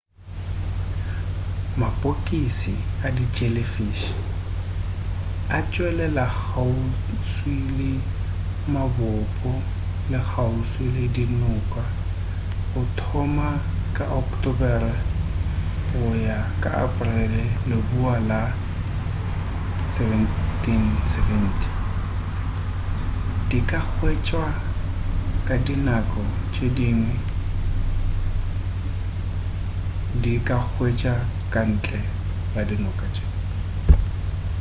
mapokisi a di jellyfish a tšwelela kgauswi le mabopo le kgauswi le dinoka go thoma ka ocktobere go ya ka aporele leboa la 1770 di ka hwetšwa ka dinako tše dingwe di ka hwetšwa ka ntle go dinako tše